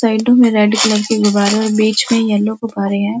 Side में red colour के गुब्बारे और बीच में येलो गुब्बारे हैं।